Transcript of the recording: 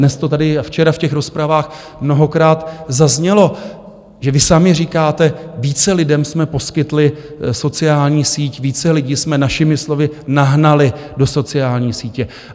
Dnes to tady a včera v těch rozpravách mnohokrát zaznělo, že vy sami říkáte, více lidem jsme poskytli sociální síť, více lidí jsme našimi slovy nahnali do sociální sítě.